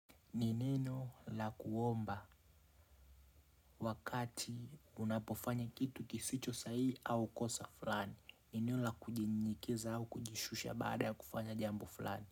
Ni neno la kuomba wakati unapofanya kitu kisicho sahihi au kosa fulani ni neno la kujinyenyekeza au kujishusha baada ya kufanya jambo fulani.